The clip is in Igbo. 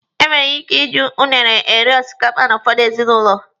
Enwere ike iji unune eri osikapa n'ụfọdụ ezinụlọ.